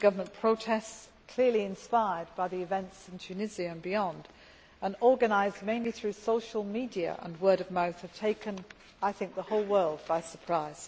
Anti government protests clearly inspired by the events in Tunisia and beyond, and organised mainly through social media and word of mouth have, I think, taken the whole world by surprise.